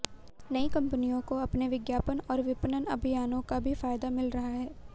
नई कंपनियों को अपने विज्ञापन और विपणन अभियानों का भी फायदा मिल रहा है